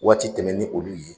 Waati tɛmɛn ni olu ye